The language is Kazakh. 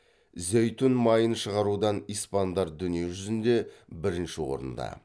зәйтүн майын шығарудан испандар дүние жүзінде бірінші орында